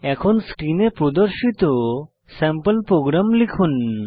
এখন স্ক্রিনে প্রদর্শিত স্যাম্পল প্রোগ্রাম লিখুন